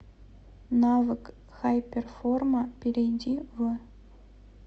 навык хайперформа перейди в